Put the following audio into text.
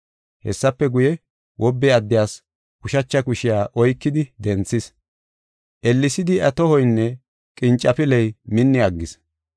Hessafe guye, wobbe addiyas ushacha kushiya oykidi denthis. Ellesidi iya tohoynne qincafiley minni aggis.